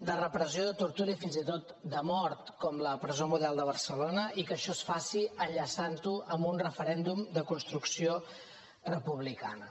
de repressió de tortura i fins i tot de mort com la presó model de barcelona i que això es faci enllaçant ho amb un referèndum de construcció republicana